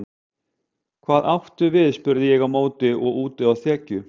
Hvað áttu við spurði ég á móti og úti á þekju.